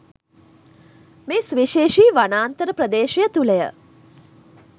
මේ සුවිශේෂී වනාන්තර ප්‍රදේශය තුළ ය